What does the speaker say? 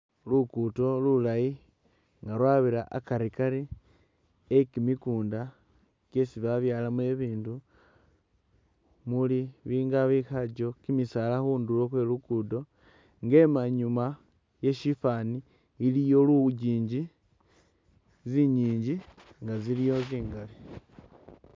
Lukudo lulayi nga lwabira akarikari e kimikunda kyesi babyalamo bibindu muli bili nga bikhajjo kimisaala khundulo khwe lugudo nga emanyuma ye shifaani iliyo lujinji, zinyinji nga ziliwo zingali